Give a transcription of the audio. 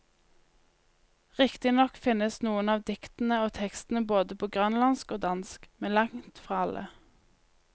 Riktignok finnes noen av diktene og tekstene både på grønlandsk og dansk, men langtfra alle.